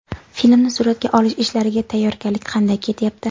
Filmni suratga olish ishlariga tayyorgarlik qanday ketyapti?